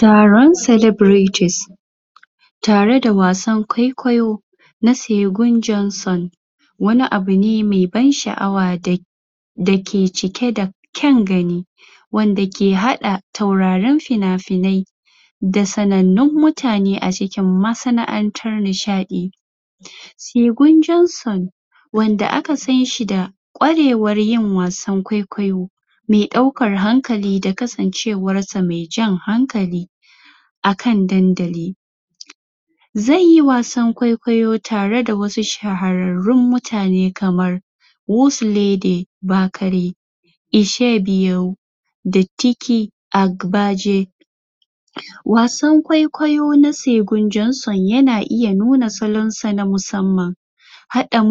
taron salabritis tari da wasan ƙwaiƙayo na saigon jonson wani abune me ban sha'awa dake cike da ƙyan gani wanda ke haɗa taurarin finafinai da sanannun mutane a cikin masana'antar nishaɗi saigon jonson wanda kasanshi da ƙarewar yin wasan ƙwaiƙwayo me ɗaukar hankali da kasancewar sa me jan hankali akan dandali zaiyi wasan ƙwaiƙwayo tare da wasu shahararrun mutane kamar wuslady bakare isshebiyuwo da tiki akbaje wasan ƙwaiƙwayo na saigon jonson yana iya nuna salansa na musamman haɗa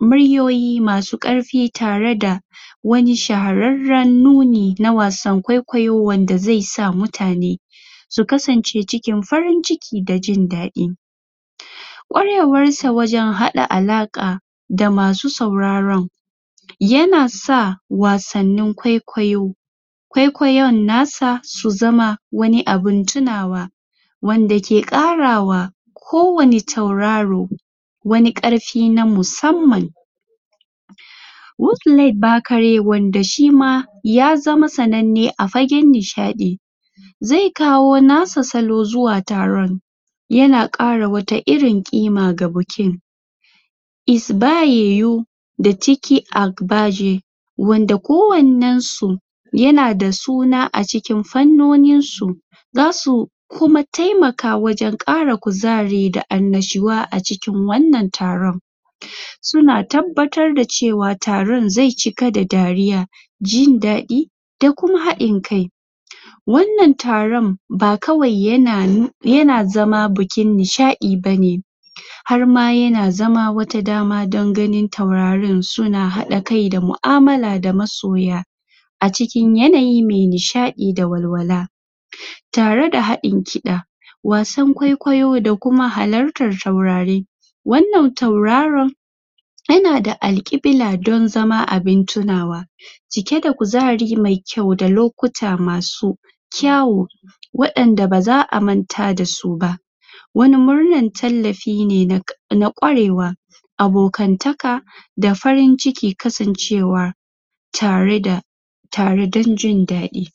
muryoyi masu karfi tare da na shahararran nuni na wasan ƙwaiƙwayo wanda zaisa mutane su kasance cikin farin ciki da jindaɗi ƙarewarsa wajan haɗa alaƙa da masu sauraran yanasa wasannin ƙwaiƙwayo ƙwaiƙwayan nasa su zama wani abun tunawa wanda ke ƙarawa ko wanne tauraro wani karfi na musamman wusle bakare wanda shima ya zama sananne a fagen nishaɗi zai kawo nasa salo zuwa taron yana ƙara wata irin ƙima ga bukiin isba yiyu da tiki akbaje wanda ko wannan su yana da suna a cikin fannuninsu zasu kuma taimaka wajan ƙara kuzari da annishuwa a cikin wannan taron suna tabbatar da cewa taron zai cika da dariya jindaɗi da kuma haɗin kai wannan taron ba kawai yana zama bukin nishaɗi bane harma yana zama wata dama dan ganin tauraren suna haɗa kai da mu'amala da masoya a cikin yanayi me nishaɗi da walwala tare da haɗin ƙida wasan ƙwaiƙwayo da kuma halattan taurari wannan tauraron yana da alƙibla don zama abun tunawa cike da kuzari me kyau da lokuta masu ƙyawu waɗanda baza a manta dasu ba wani murnan taqllafi ne na na ƙwarewa abokantaka da farin ciki kasancewa tare da tare ɗan jindaɗi